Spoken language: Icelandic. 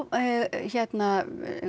hérna